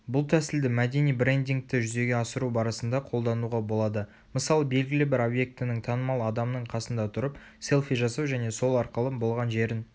бұл тәсілді мәдени брендингті жүзеге асыру барысында қолдануға болады мысалы белгілі бір объектінің танымал адамның қасында тұрып селфи жасау және сол арқылы болған жерін